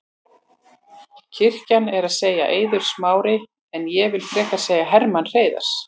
Klisjan er að segja Eiður Smári en ég vill frekar segja Hermann Hreiðarsson.